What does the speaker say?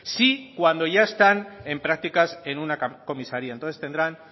sí cuando ya están en prácticas en una comisaría entonces tendrán